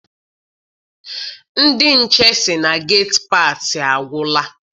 Ndị nche sị na geti paasị agwụla.